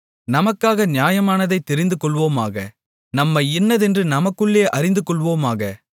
நமக்காக நியாயமானதைத் தெரிந்துகொள்வோமாக நன்மை இன்னதென்று நமக்குள்ளே அறிந்துகொள்வோமாக